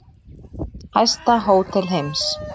Hæsta hótel heims